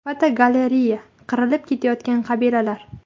Fotogalereya: Qirilib ketayotgan qabilalar.